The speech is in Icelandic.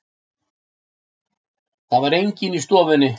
Það var enginn í stofunni.